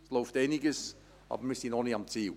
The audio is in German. Es läuft einiges, aber wir sind noch nicht am Ziel.